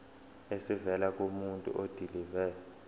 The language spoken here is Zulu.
esivela kumuntu odilive